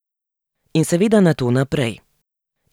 In seveda nato naprej.